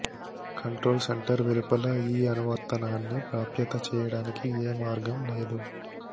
control centre వెలుపల ఈ అనువర్తనాన్ని ప్రాప్యత చేయడానికి ఏ మార్గం లేదు